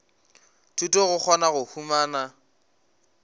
thuto go kgona go humana